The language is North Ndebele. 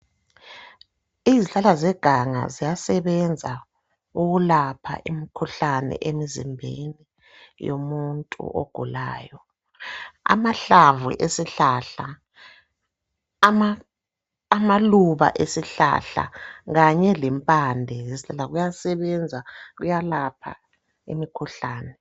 Izihlahla zeganga ziyasebenza ukulapha imkhuhlane emzimbeni yomuntu ogulayo. Amahlamvu esihlahla, ama amaluba esihlahla kanye lempande zesihlahla kuyasebenza kuyalapha imkhuhlane.